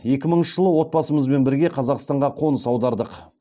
екі мыңыншы жылы отбасымызбен бірге қазақстанға қоныс аудардық